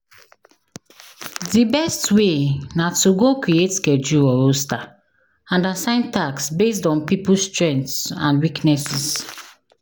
Di best way na to go create schedule or roster and assign tasks based on people's strengths and weaknesses.